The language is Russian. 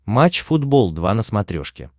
матч футбол два на смотрешке